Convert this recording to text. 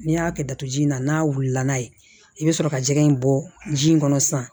N'i y'a kɛ datuguji in na n'a wulila n'a ye i bɛ sɔrɔ ka jɛgɛ in bɔ ji in kɔnɔ sisan